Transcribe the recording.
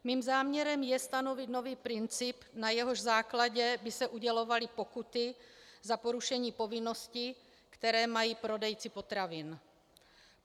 Mým záměrem je stanovit nový princip, na jehož základě by se udělovaly pokuty za porušení povinností, které mají prodejci potravin.